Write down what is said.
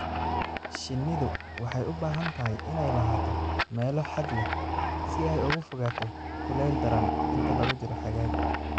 Shinnidu waxay u baahan tahay inay lahaato meelo hadh leh si ay uga fogaato kulayl daran inta lagu jiro xagaaga.